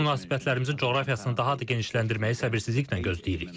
Biz münasibətlərimizin coğrafiyasını daha da genişləndirməyi səbirsizliklə gözləyirik.